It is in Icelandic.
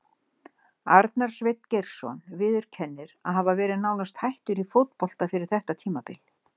Arnar Sveinn Geirsson viðurkennir að hafa verið nánast hættur í fótbolta fyrir þetta tímabil.